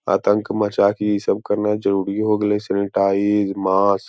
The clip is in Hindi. आतंक मचा के इ सब करना जरुरी हो गेले सैनिटाइज मास्क ।